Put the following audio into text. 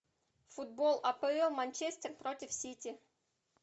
футбол апл манчестер против сити